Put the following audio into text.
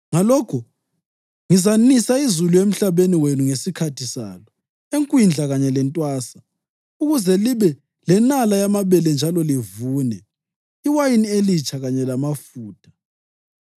ngalokho ngizanisa izulu emhlabeni wenu ngesikhathi salo, ekwindla kanye lasentwasa, ukuze libe lenala yamabele njalo livune, iwayini elitsha kanye lamafutha.